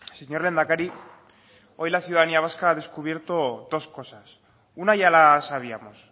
señor lehendakari hoy la ciudadanía vasca ha descubierto dos cosas una ya la sabíamos